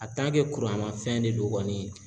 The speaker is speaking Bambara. mafɛn de do kɔni